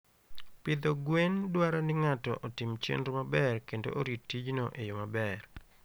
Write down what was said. Pidho gwen dwaro ni ng'ato otim chenro maber kendo orit tijno e yo maber.